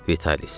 Vitalis.